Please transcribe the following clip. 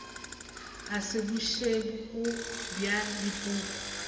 e se bošego bja dipoko